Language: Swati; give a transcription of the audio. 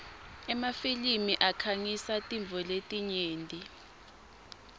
emafilimi akhangisa tintfo letinyenti